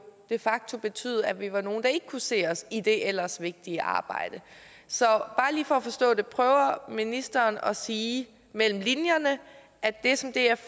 de facto vil betyde at vi var nogle der ikke kunne se os i det ellers vigtige arbejde så bare lige for at forstå det prøver ministeren at sige mellem linjerne at det som df